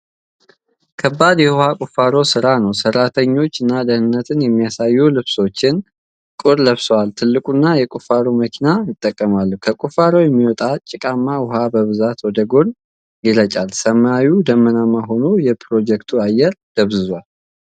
ከባድ የውሃ ቁፋሮ ሥራ ነው። ሠራተኞች፣ ደህንነትን የሚያሳዩ ልብሶችና ቁር ለብሰው፣ ትልቁን የቁፋሮ መኪና ይጠቀማሉ። ከቁፋሮው የሚወጣው ጭቃማ ውሃ በብዛት ወደ ጎን ይረጫል። ሰማዩ ደመናማ ሆኖ የፕሮጀክቱን አየር ደብዝዟል።